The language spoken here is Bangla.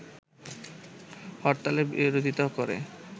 হরতালের বিরোধিতা করে